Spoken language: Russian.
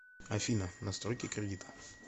афина настройки кредита